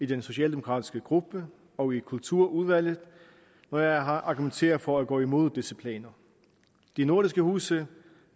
den socialdemokratiske gruppe og kulturudvalget når jeg har argumenteret for at gå imod disse planer de nordiske huse